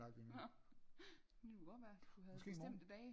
Nå det kunne jo godt være du havde bestemte dage